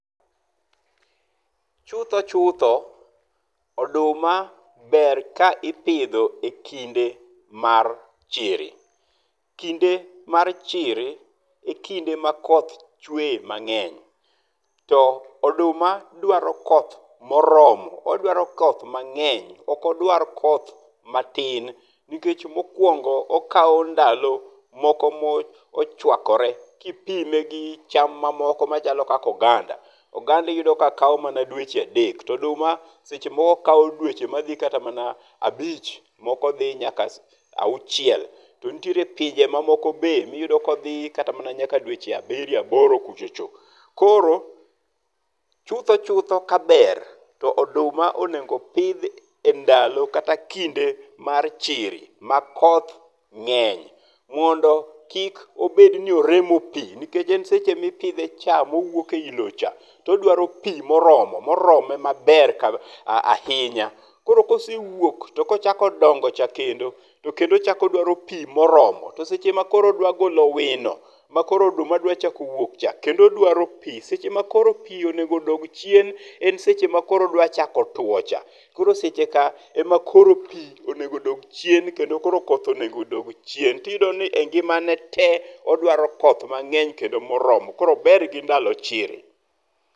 Chutho chutho,, oduma ber ka ipidho e kinde mar chiri. Kinde mar chiri e kinde ma koth chweye mang'eny to oduma dwaro koth moromo, odwaro koth mang'eny okdwar koth matin nikech mokuongo okawo ndalo moko mo ochwakore ki ipime gi cham mamoko ka oganda. Oganda iyudo mana ka kawo dweche adek to oduma seche moko kawo dweche ma dhi kata abich moko dhi nyaka auchiel. To nitiere pinje ma moko ma iyudo ka odhi nyaka dweche abiriyo ,aboro kuchocho. Koro chutho chutho kaber, to oduma onego opidhi ndalo kata kinde mar chiri ma koth ng’eny mondo kik obed ni oremo pi nikech en seche mi ipidhe cha ma owuok e loo cha to odwaro pi moromo, morome maber kabisa ahinya. Koro kesewuok kosechako dongo cha kendo to kendo ochako odwaro pi mo oromo to seche ma koro odwa golo wino ma koro oduma dwa chako wuok cha, kendo odwaro pii seche ma koro pi onego dog chien, en seche ma koro odwa chako two cha koro seche ka ema koro pii onego odog chien kendo koro okoth odog chien to iyudo ni e ngima ne tee odwaro koth kendo mo oromo. Koro ober gi ndalo chiri.